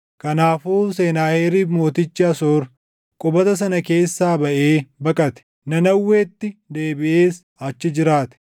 Kanaafuu Senaaheriib mootichi Asoor qubata sana keessaa baʼee baqate; Nanawweetti deebiʼees achi jiraate.